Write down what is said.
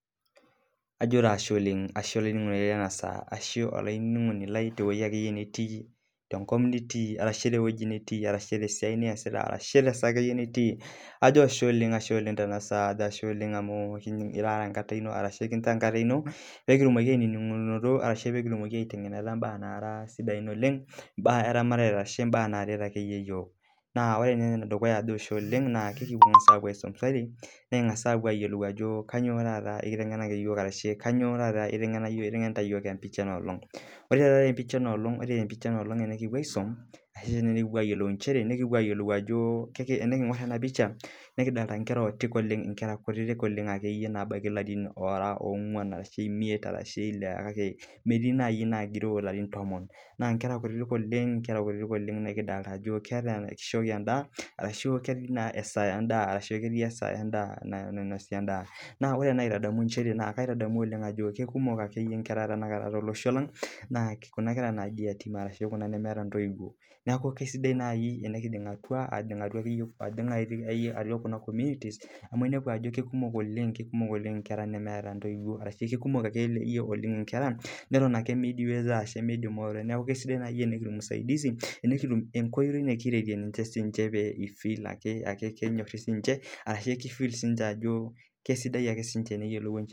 ajo taa ashe olaininingoni lai tewueji pookin nitii, naa karibuni taa enkitengena ang enoolong, Ekiiyiou nikipuo aadol aajo kainyioo itengena yiook empisha enoolong. Ore naa tenapisha naa kidoolta enkera kutitik ooleng ebaiki ilarin oongun mpaka tomon. adoolta sii ajo erishata endaa ashu erishata nainosi endaa. Ore kiyiolo ajo ketii siininye nkera nemeeta ntoiwuo naa niche kuna naa kisidai teningoruni namuna piisaidie niche peedol siininche enyorata